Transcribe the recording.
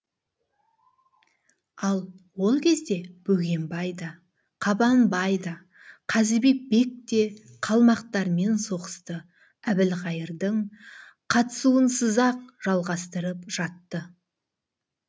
ал ол кезде бөгенбай да қабанбай да қазыбек бек те қалмақтармен соғысты әбілқайырдың қатысуынсыз ақ жалғастырып жатты